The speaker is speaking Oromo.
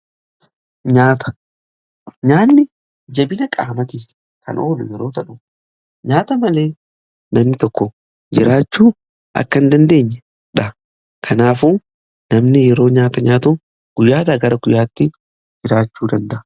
Nyaanni jabina qaamaati kan oolu yeroo ta'u nyaata malee namni tokko jiraachuu akka in dandeenyedha. Kanaafu namni yeroo nyaata nyaatu guyyaa gara guyyaatti jiraachuu danda'a.